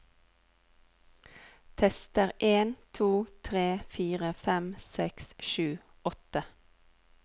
Tester en to tre fire fem seks sju åtte